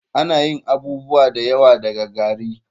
Ana yin abubuwa da yawa daga gari.